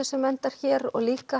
sem endar hér og líka